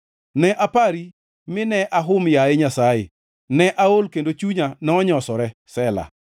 Ne apari mine ahum, yaye Nyasaye, ne aol kendo chunya nonyosore. Sela